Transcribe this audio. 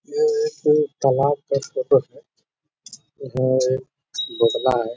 ये एक तालाब का फोटो है। यहाँ एक बगुला है।